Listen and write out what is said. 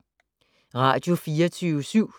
Radio24syv